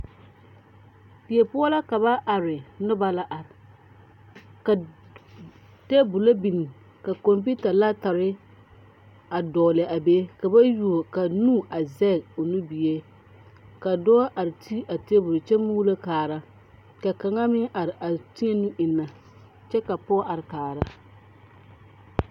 Die poɔ la ka ba are nobɔ la are ka tabolɔ biŋ ka kɔmpiuta laptɔre a dɔgle a be ka ba yuo ka nu a zɛge o nubie ka dɔɔ are ti a tabol kyɛ muulo kaara ka kaŋa meŋ are a ti eŋnɛ kyɛ ka pɔɔ are kaara.